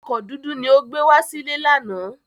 Ọkọ̀ dúdú ni ó gbé wá sílé lánàá.